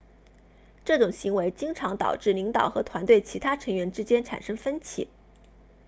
这种行为经常导致领导和团队其他成员之间产生分歧